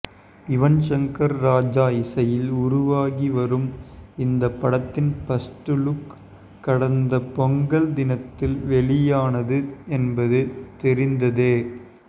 யுவன் ஷங்கர் ராஜா இசையில் உருவாகி வரும் இந்த படத்தின் ஃபர்ஸ்ட்லுக் கடந்த பொங்கல் தினத்தில் வெளியானது என்பது தெரிந்ததே